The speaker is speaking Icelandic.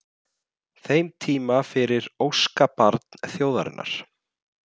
þeim tíma fyrir óskabarn þjóðarinnar?